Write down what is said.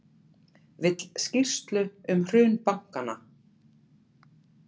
Vill skýrslu um hrun bankanna